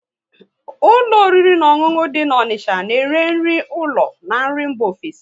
Ụlọ oriri na ọṅụṅụ dị na Onicha na ere nri ụlọ na nri mba ofesi